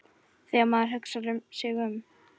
Þegar maður hugsar sig um.